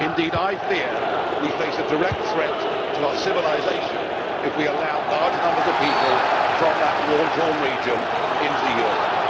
Indeed, I fear we face a direct threat to our civilisation if we allow large numbers of people from that war torn region into Europe.